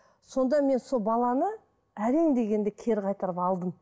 сонда мен сол баланы әрең дегенде кері қайтарып алдым